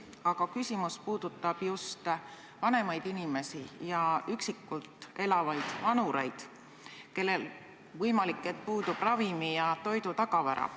Aga küsimus puudutab just vanemaid inimesi, eriti üksinda elavaid vanureid, kellel vahest puudub ravimi- ja toidutagavara.